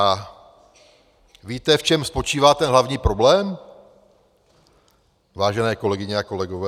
A víte, v čem spočívá ten hlavní problém, vážené kolegyně a kolegové?